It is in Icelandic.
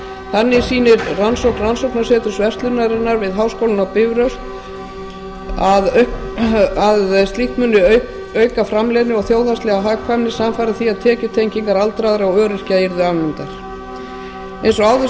þannig sýnir rannsókn rannsóknarseturs verslunarinnar við háskólann á bifröst að slíkt muni auka framleiðni og þjóðhagslega hagkvæmni samfara því að tekjutengingar aldraðra og öryrkja verði afnumdar eins og áður